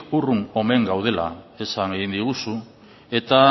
urrun omen gaudela esan egin diguzu eta